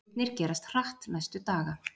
Atburðirnir gerast hratt næstu daga.